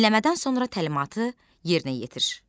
Dinləmədən sonra təlimatı yerinə yetir.